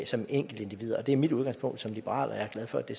som enkeltindivider og det er mit udgangspunkt som liberal og jeg er glad for at det